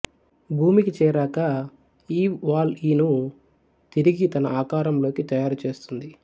భూమికి చేరాక ఈవ్ వాల్ఈను తిరిగి తన ఆకారంలోకి తయారు చేస్తుంది